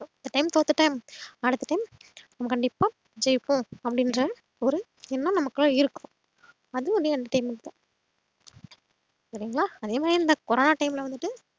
இந்த time தோத்துட்டேன் அடுத்த time நம்ம கண்டிப்பா ஜெய்ப்போம் அப்டின்ற ஒரு எண்ணம் நமக்குள்ள இருக்கும் அது ஒரு entertainment தான் சரிங்களா அதேமாறி இந்த கொரோனா time ல வந்துட்டு